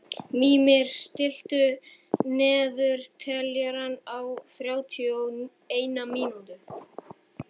Mímir, stilltu niðurteljara á þrjátíu og eina mínútur.